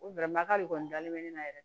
O bɛlɛmakari de kɔni dalen bɛ ne na yɛrɛ